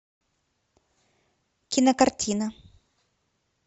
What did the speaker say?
кинокартина